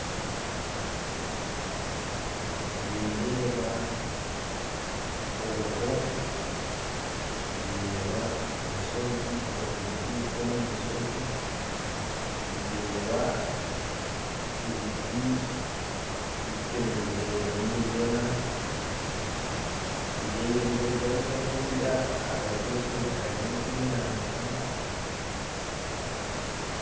Nindeeba oruho nirutubuuka omu nshozi ndeeba ebiti bitemirwe birimu nibigyena ndingurizayo nka kuriya ahagati y'orushozi hariyo nk'enyanja